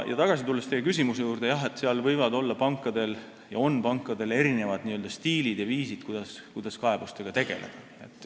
Tulles tagasi teie küsimuse juurde, jah, pankadel võivad olla ja on erinevad stiilid ja viisid, kuidas kaebustega tegeleda.